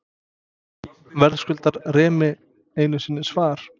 Verðskuldar Remi einu sinni svar?